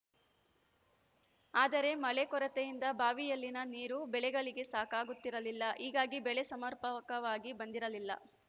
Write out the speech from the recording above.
ಆದರೆ ಮಳೆ ಕೊರತೆಯಿಂದ ಬಾವಿಯಲ್ಲಿನ ನೀರು ಬೆಳೆಗಳಿಗೆ ಸಾಕಾಗುತ್ತಿರಲಿಲ್ಲ ಹೀಗಾಗಿ ಬೆಳೆ ಸಮರ್ಪಕವಾಗಿ ಬಂದಿರಲಿಲ್ಲ